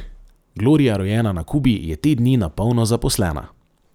Gloria, rojena na Kubi, je te dni na polno zaposlena.